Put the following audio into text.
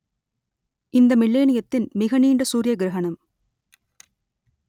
இந்த மில்லேனியத்தின் மிக நீண்ட சூரிய கிரகணம்